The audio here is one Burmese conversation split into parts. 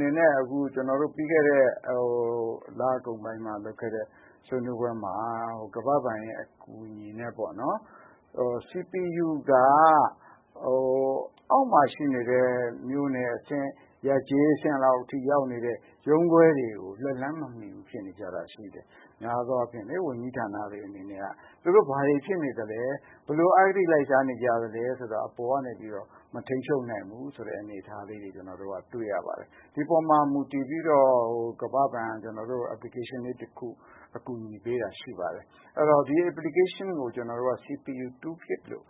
နေနဲ့ ကျနော်တို့ ပြီးခဲ့တဲ့ လကုန်ပိုင်းမှာ လုပ်ခဲ့တဲ့ ဆွေးနွေးပွဲမှာ ကမ္ဘာ့ဘဏ်အကူအညီနဲ့ပေါ့နော်။ CPU က အောက်မှာ ရှိနေတဲ့ မြို့နယ်အဆင့် ရပ်ကျေးအဆင့် ရုံးခွဲတွေကို လက်လှမ်းမမှီတာရှိနေတယ်။ များသောအားဖြင့် ဝန်ကြီးဌာနတွေအနေနဲ့က သူတို့ ဘာတွေဖြစ်နေသလဲ၊ ဘယ်လိုအဂတိ လိုက်စားနေကြသလဲ ဆိုတာကို အပေါ်ကနေပြီးတော့ မထိန်းချုပ်နိုင်ဘူးဆိုတဲ့အနေအထားလေးတွေ ကျနော်တို့ တွေ့ရပါတယ်။ ဒီအပေါ်မှာ ကမ္ဘာ့ဘဏ်က ကျနော်တို့ကို application လေးတခု အကူအညီပေးတာ ရှိပါတယ်။ အဲဒီတော့ ဒီ Application ကို CPU tool kit လို့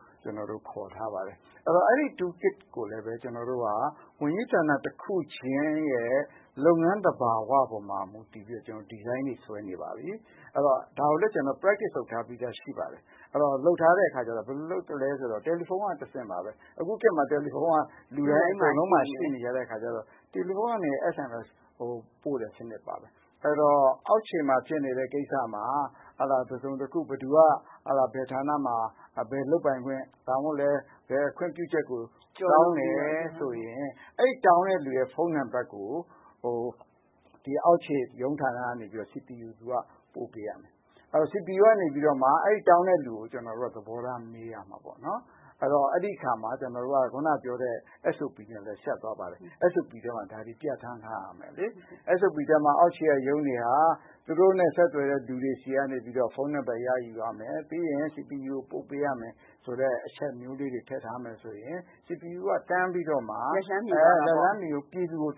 ခေါ်ထားပါတယ်။ အဲဒါကိုလည်း ကျနော်တို့ ဝန်ကြီးဌာန တခုချင်းရဲ့ လုပ်ငန်းသဘာဝပေါ် မူတည်ပြီးတော့ ဒီဇိုင်းတွေ ဆွဲနေပါပြီ။ ဒါကိုလည်း ကျနော်တို့ လေ့ကျင့်ထားပြီးသားရှိပါတယ်။ အဲဒါ ဘယ်လိုလုပ်သလဲဆိုတော့ တယ်လီဖုန်းက တဆင့်ပါပဲ။ အခုခေတ်မှာ တယ်လီဖုန်းက လူတိုင်းမှာ ရှိနေကြတဲ့အခါကျတော့ တယ်လီဖုန်းက SMS ပို့တဲ့စနစ်တွေပါမယ်။ အဲဒီတော့ အောက်ခြေမှာဖြစ်နေတဲ့ ကိစ္စမှာ ဥပမာ- ဘယ်ဌာနမှာ ဘယ်ခွင့်ပြုချက်ကို တောင်းတယ်ဆိုရင် အဲဒီတောင်းတဲ့လူရဲ့ ဖုန်းနံပတ်ကို အောက်ခြေရုံးဌာနကတဆင့် CPU က ပို့ပေးရမယ်။ အဲဒီတော့ CPU ကနေပြီးမှ အဲဒီတောင်းတဲ့လူကို သဘောထားမေးရမှာပေါ့နော်။ အဲဒီတော့ အဲဒီအခါမှာ ကျနော်တို့ ခုနကပြောတဲ့အတိုင်း အက်စ်အိုပီထဲမှာ ပြဌာန်းထားရမယ်လေ။ အက်စ်အိုပီထဲမှာ အောက်ခြေက ရုံးတွေက သူတို့နဲ့ ဆက်သွယ်တဲ့ လူတွေဆီကနေပြီးတော့ ဖုန်းနံပတ် ရယူရမယ် ပြီးရင် CPU ကိုပို့ပေးရမယ်ဆိုတဲ့ အချက်မျိုးလေး ထည့်ထားမယ်ဆိုရင် CPU က တန်းပြီးတော့မှ ပြည်သူကို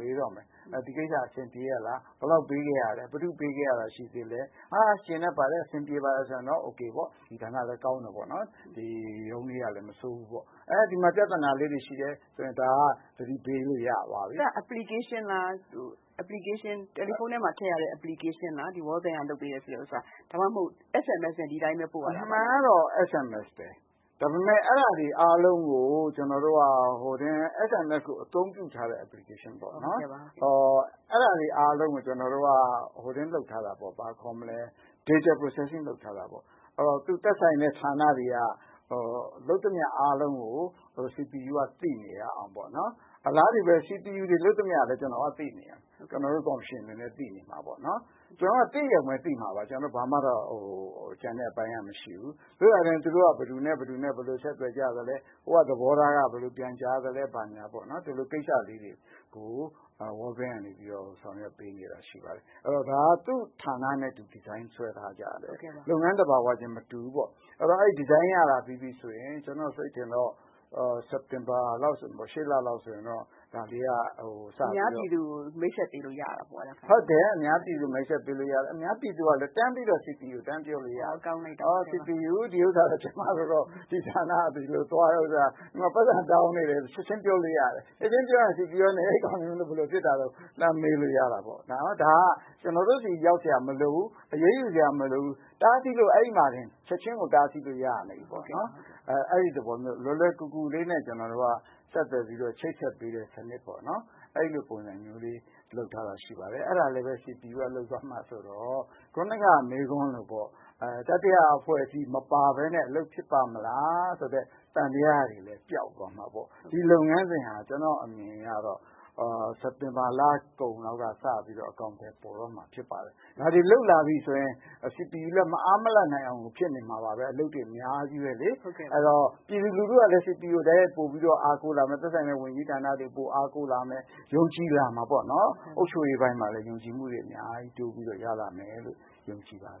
မေးတော့မယ် ။ ဒီကိစ္စ အဆင်ပြေရဲ့လား ၊ ဘယ်လောက်ပေးခဲ့ရသလဲ၊ ဘယ်သူ့ကို ပေးခဲ့ရတာ ရှိသေးသလဲ ။ ကျေနပ်တယ် အဆင်ပြေတယ်ဆိုရင်တော့ အိုကေပေါ့ ၊ ဒီဌာနလည်း ကောင်းတယ် ရုံးလေးကလည်း မဆိုးဘူးပေါ့။ ဒီမှာ ပြဿနာလေးတွေရှိတယ်ဆိုရင် ဒါက သတိပေး လို့ရသွားပြီ။ အဲဒါက Application လား တယ်လီဖုန်းထဲမှာ ထည့်လို့ရတဲ့ Application လား World Bank ကလုပ်ပေးတဲ့ဟာ၊ ဒါမှမဟုတ် SMS နဲ့ပို့ရတာလား။ အမှန်ကတော့ SMS ပဲ ဒါပေမယ့် ဒါတွေအကုန်လုံးကို SMS အသုံးပြုထားတဲ့ Application ပေါ့နော် ဒါတွေအကုန်လုံးကို ကျနော်တို့ Data procession လုပ်ထားတာပေါ့။ သက်ဆိုင်တဲ့ ဌာနတွေလုပ်သမျှအားလုံးကို CPU က သိနေအောင်ပေါ့နော်။ အလားတူပဲ CPU လုပ်သမျှလည်း ကျနော်တို့ ကော်မရှင်အနေနဲ့ သိနေရမယ်။ ကျနော်တို့က သိရုံပဲသိမှာပါ ကျန်တဲ့အပိုင်းက ဘာမှ မရှိဘူး။ သို့သော်လည်း ဘယ်သူတို့ ဘယ်လို ဆက်သွယ်ကြသလဲဟိုက သဘောထားက ဘယ်လိုပြန်ကြားသလဲ ဘာညာပေါ့နော် ဒါလေးတွေကို World bank က ဆောင်ရွက်ပေးနေတာ ရှိပါတယ်။ ဒါက သူ့ဌာနနဲ့သူ ဒီဇိုင်း ဆွဲထားကြတယ်။ လုပ်ငန်းသဘာဝချင်းမတူဘူးပေါ့ အဲဒီတော့ အဲဒီဒီဇိုင်းက စက်တင်ဘာလောက်ဆိုရင် အများပြည်သူကို မိတ်ဆက်ပေးလို့ ရတယ်။ အများပြည်သူကလည်း CPU ကို တန်းပြီးတော့ ပြောလို့ရတယ်။ ဒီဌာနကတော့ ကျမတို့ကို ဒီလို ပိုက်ဆံတောင်းနေတယ်ဆိုတာကို ချက်ချင်းပြောလို့ရတယ်။ အဲလိုဆိုရင် CPU ကလည်း လှမ်းမေးလို့ရတာပေါ့ ။ ဒါက ကျနော်တို့ဆီ ရောက်စရာမလိုဘူး အရေးယူစရာမလိုဘူး ချက်ချင်းကို အဲဒီမှာတင် တားဆီးလို့ရနေပါပြီ။ အဲဒီသဘောမျိုး လွယ်လွယ်ကူကူလေးနဲ့ ကျနော်တို့က ချိတ်ဆက်လို့ရတယ် အဲဒါလေးလည်း CPU က လုပ်မှာဆိုတော့ ခုနက မေးခွန်းလိုပေါ့ တတိယ အဖွဲ့အစည်း မပါပဲနဲ့ အလုပ်ဖြစ်ပါ့မလား ဆိုတဲ့ သံသယတွေလည်း ပြောက်သွားမှာပေါ့။ ဒီလုပ်ငန်း စဉ်ဟာ ကျနော့်အမြင်အရတော့ စက်တင်ဘာလကုန် လောက်ကစပြီးတော့ အကောင်အထည်ဖော်တော့မှာဖြစ်ပါတယ်။ ဒါတွေလုပ်လာပြီ ဆိုရင် CPU လည်း မအားမလပ်ဖြစ်နေမှာပဲ။ အလုပ်တွေ အများကြီးပဲလေ။ အဲဒီတော့ ပြည်သူကလည်း CPU ကို တိုက်ရိုက်ပိုပြီးတော့ အားကိုးလာမယ် သက်ဆိုင်ရာဝန်ကြီးဌာနတွေကို အားကိုးလာမယ် ။ ယုံကြည်လာမှာပေါ့နော် အုပ်ချုပ်ရေးပိုင်းမှာလည်း ယုံကြည်မှုတွေ အများကြီးတိုးပြီးရလာမယ်လို့ ယုံကြည်ပါတယ်။”